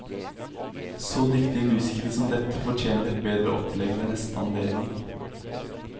Så dyktige musikere som dette fortjener et bedre opplegg ved neste anledning.